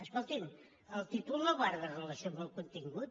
escolti’m el títol no guarda relació amb el contingut